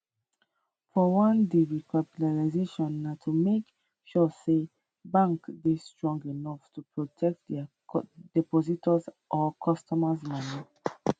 for one di recapitalisation na to make sure say banks dey strong enough to protect dia depositors or customers moni